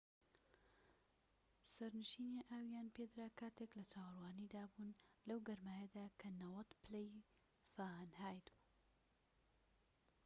سەرنشینان ئاویان پێدرا کاتێك لە چاوەڕوانیدا بوون لەو گەرمایەدا کە 90 پلەی فاهەنایت بوو